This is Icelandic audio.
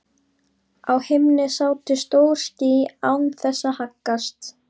Á himni sátu stór ský án þess að haggast.